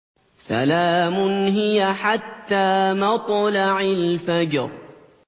سَلَامٌ هِيَ حَتَّىٰ مَطْلَعِ الْفَجْرِ